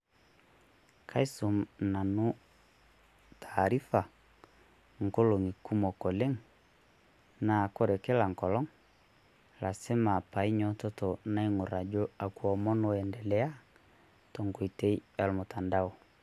Kaisum Nanu taarifa ing'olong'i kumok oleng' naa ore kiila enkolong' arashu Ina painyiototo naaing'orr ajo akwa omon Oiendelea tenkoitoi ormutandao.